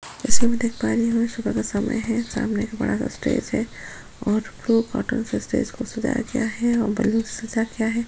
जैसा हम देख पा रही हुं सुबह का समय है सामने एक बड़ा सा स्पेस है और फू कॉटन से स्पेस को सजाया गया है और बैलून्स सजा गया है।